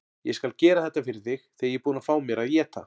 Ég skal gera þetta fyrir þig þegar ég er búinn að fá mér að éta.